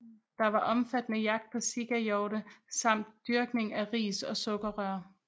Der var omfattende jagt på sikahjorte samt dyrkning af ris og sukkerrør